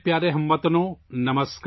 میرے پیارے ہم وطنو، سلام